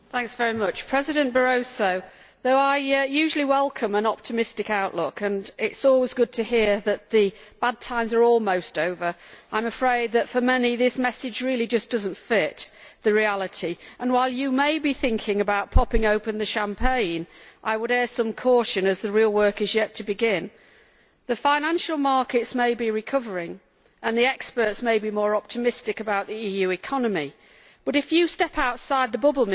Mr President, though I usually welcome an optimistic outlook and while it is always good to hear from you, President Barroso, that the bad times are almost over, I am afraid that for many, this message really just does not fit the reality and, while you may be thinking about popping open the champagne, I would air some caution as the real work is yet to begin. The financial markets may be recovering and the experts may be more optimistic about the EU economy, but if you step outside the bubble,